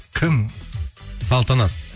кім салтанат